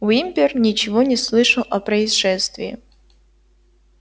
уимпер ничего не слышал о происшествии